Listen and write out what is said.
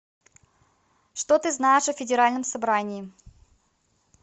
что ты знаешь о федеральном собрании